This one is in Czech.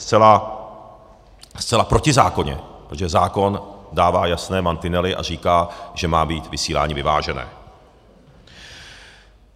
Zcela protizákonně, protože zákon dává jasné mantinely a říká, že má být vysílání vyvážené.